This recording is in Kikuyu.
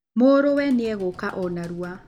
Mũrũwe nĩegũũka o narua